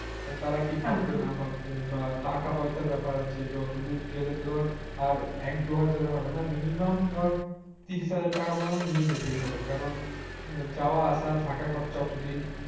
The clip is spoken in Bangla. তারা কি ভাববে না ভাববে বা টাকা পয়সার ব্যাপার আছে যতদূর গেলেতো ধর আর এক দুই হাজারের হবে না minimum ধর ত্রিরিস হাজার টাকা টাকা মত নিয়ে যেতেই হবে কারণ যাওয়া আসা থাকা খরচা অতদিন